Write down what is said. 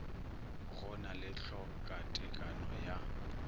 go na le tlhokatekano ya